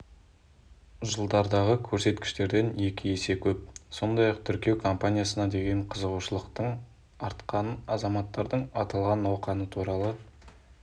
жылдардағы көрсеткіштерден екі есе көп сондай-ақ тіркеу компаниясына деген қызығушылықтың артқанын азаматтардың аталған науқан туралы